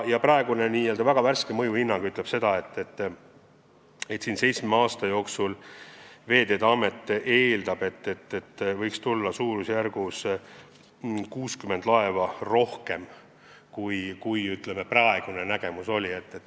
Praegune väga värske mõjuhinnang ütleb, et Veeteede Amet eeldab, et seitsme aasta jooksul võiks meie registrisse tulla umbes 60 laeva juurde.